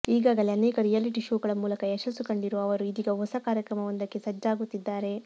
ಈಗಾಗಲೇ ಅನೇಕ reality show ಗಳ ಮೂಲಕ ಯಶಸ್ಸು ಕಂಡಿರುವ ಅವರು ಇದೀಗ ಹೊಸ ಕಾರ್ಯಕ್ರಮವೊಂದಕ್ಕೆ ಸಜ್ಜಾಗುತ್ತಿದ್ದಾರೆ